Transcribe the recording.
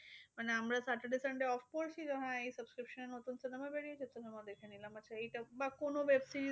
মানে আমরা saturday sunday off করছি যে হ্যাঁ এই subscription এ নতুন cinema বেরিয়েছে cinema দেখে নিলাম। আচ্ছা এইটা বা কোনো web series